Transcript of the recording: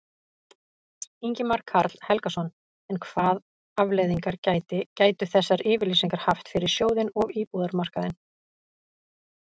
Ingimar Karl Helgason: En hvað afleiðingar gæti, gætu þessar yfirlýsingar haft fyrir sjóðinn og íbúðamarkaðinn?